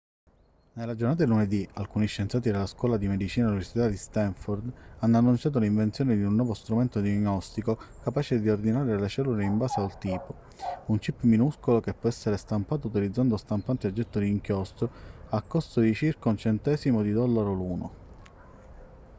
nella giornata di lunedì alcuni scienziati della scuola di medicina dell'università di stanford hanno annunciato l'invenzione di un nuovo strumento diagnostico capace di ordinare le cellule in base al tipo un chip minuscolo che può essere stampato utilizzando stampanti a getto di inchiostro al costo di circa 1 centesimo di dollaro l'uno